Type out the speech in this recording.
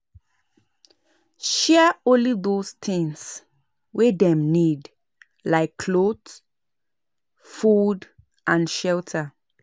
Share only those things wey dem need like cloth food and shelter